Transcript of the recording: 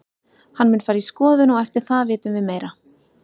Hann mun fara í skoðun og eftir það vitum við meira.